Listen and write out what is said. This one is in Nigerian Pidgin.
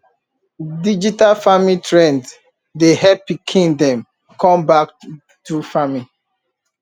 digital farming trend dey help pikin dem come back farming